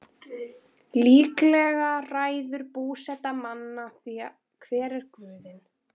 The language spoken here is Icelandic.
Líklega ræður búseta manna því hver guðinn er.